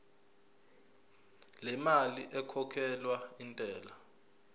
lemali ekhokhelwa intela